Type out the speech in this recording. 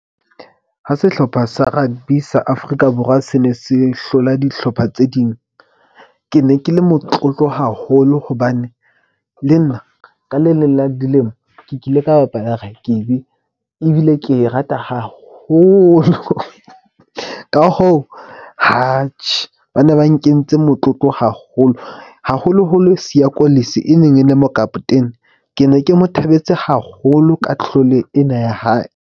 Ha sehlopha sa rugby sa Afrika Borwa se ne se hlola dihlopha tse ding. Ke ne ke le motlotlo haholo hobane le nna ka le leng la dilemo ke kile ka bapala rakebi. Ebile ke e rata haholo ka hoo bane ba nkentse motlotlo haholo, haholoholo Siya Kolisi e neng e le mokaptene. Ke ne ke mo thabetse haholo ka tlhole ena ya hae.